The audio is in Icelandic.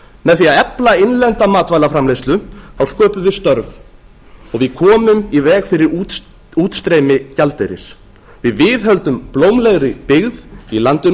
með því að efla innlenda matvælaframleiðslu sköpum við störf og við komum í veg fyrir útstreymi gjaldeyris við viðhöldum blómlegri byggð í landinu